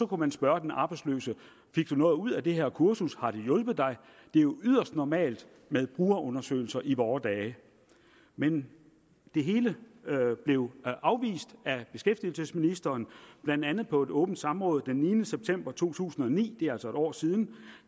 kunne spørge den arbejdsløse fik du noget ud af det her kursus har det hjulpet dig det er jo yderst normalt med brugerundersøgelser i vore dage men det hele blev afvist af beskæftigelsesministeren blandt andet på et åbent samråd den niende september to tusind og ni det er altså et år siden